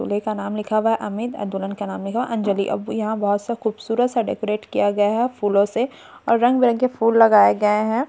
दुल्हे का नाम लिखा हुआ है अमित एंड दुलहन का नाम लिखा हुआ है अंजलि अब यहाँ बहोत सब खुबसूरत सा डेकोरेट किया गया है फूलों से और रंग-बिरंगे फूल लगाया गए हैं।